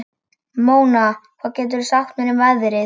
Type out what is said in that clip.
Mona, hvað geturðu sagt mér um veðrið?